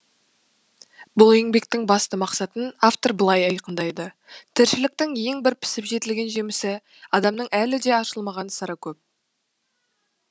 бұл еңбектің басты мақсатын автор былай айқындайды тіршіліктің ең бір пісіп жетілген жемісі адамның әлі де ашылмаған сыры көп